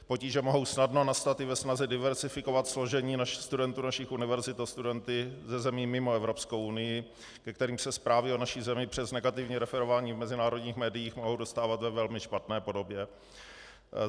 Potíže mohou snadno nastat i ve snaze diverzifikovat složení studentů našich univerzit o studenty ze zemí mimo Evropskou unii, ke kterým se zprávy o naší zemi přes negativní referování v mezinárodních médiích mohou dostávat ve velmi špatné podobě.